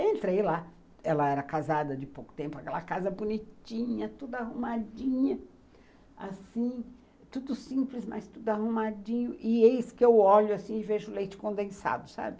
Entrei lá, ela era casada de pouco tempo, aquela casa bonitinha, tudo arrumadinha, assim, tudo simples, mas tudo arrumadinho, e eis que eu olho assim e vejo leite condensado, sabe?